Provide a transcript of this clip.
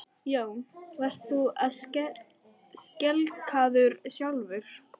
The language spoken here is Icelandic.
Jón: Varst þú skelkaður sjálfur?